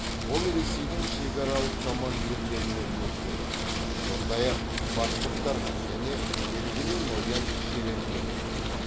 ол ресейдің шекаралық командирлеріне өкпелі сондай ақ башқұрттарға және белгілі ноян шерендеге